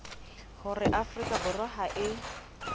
hore afrika borwa ha e